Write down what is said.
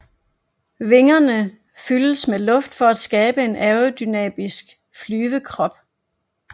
Vingene fyldes med luft for at skabe en aerodynamisk flyvekrop